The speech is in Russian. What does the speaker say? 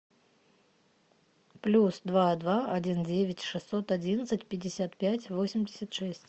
плюс два два один девять шестьсот одиннадцать пятьдесят пять восемьдесят шесть